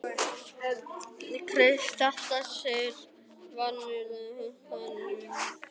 Kristján: Þetta snertir virkjanir og hugsanlega álver á nýjum stað?